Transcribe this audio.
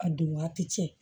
A don waati cɛ